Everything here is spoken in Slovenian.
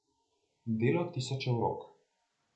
Delo tisočev rok.